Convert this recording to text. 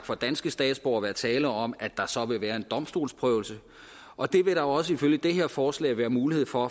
for danske statsborgere være tale om at der så vil være en domstolsprøvelse og det vil der også ifølge det her forslag være mulighed for